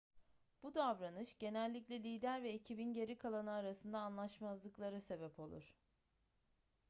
bu davranış genellikle lider ve ekibin geri kalanı arasında anlaşmazlıklara sebep olur